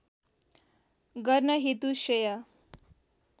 गर्न हेतु श्रेय